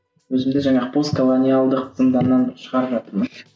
өзімді жаңағы постколониалдық зыңданнан шығарып жатырмын